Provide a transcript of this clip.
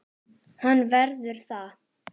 Hann verður það.